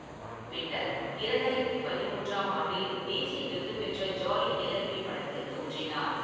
பின்னர் இரண்டாயிரத்தி பதிமூன்றாம் ஆண்டில் தேசிய விருது பெற்ற ஜாலி எல்எல்பி படத்தில் தோன்றினார்.